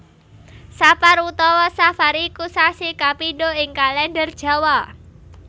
Sapar utawa Safar iku sasi kapindho ing Kalèndher Jawa